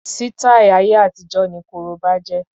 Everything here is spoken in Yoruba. Sítáì ayé àtijó ni korobá jẹ́.